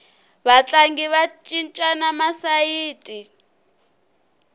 vatlangi va cincana masayiti